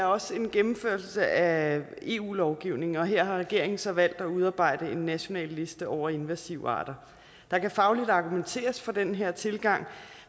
også er en gennemførelse af eu lovgivning og her har regeringen så valgt at udarbejde en national liste over invasive arter der kan fagligt argumenteres for den her tilgang